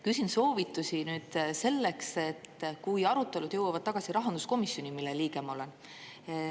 Küsin soovitusi nüüd selleks, et kui arutelud jõuavad tagasi rahanduskomisjoni, mille liige ma olen.